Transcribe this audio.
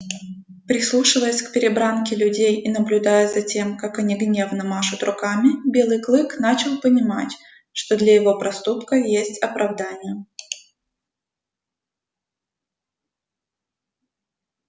прислушиваясь к перебранке людей и наблюдая за тем как они гневно машут руками белый клык начал понимать что для его проступка есть оправдание